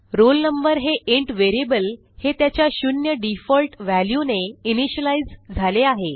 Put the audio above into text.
roll number हे int variable हे त्याच्या शून्य डिफॉल्ट व्हॅल्यूने इनिशियलाईज झाले आहे